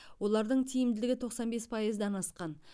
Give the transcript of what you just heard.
олардың тиімділігі тоқсан бес пайыздан асқан